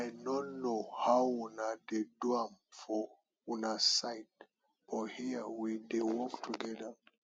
i no know how una dey do am for una side but here we dey work together